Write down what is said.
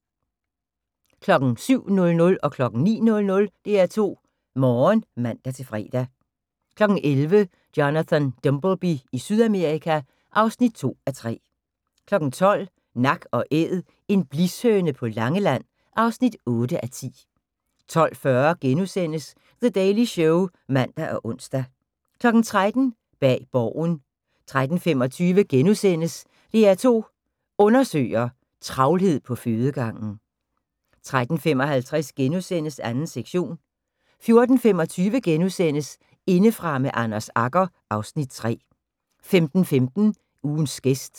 07:00: DR2 Morgen (man-fre) 09:00: DR2 Morgen (man-fre) 11:00: Jonathan Dimbleby i Sydamerika (2:3) 12:00: Nak & æd - En blishøne på Langeland (8:10) 12:40: The Daily Show *(man og ons) 13:00: Bag Borgen 13:25: DR2 Undersøger: Travlhed på fødegangen * 13:55: 2. sektion * 14:25: Indefra med Anders Agger (Afs. 3)* 15:15: Ugens gæst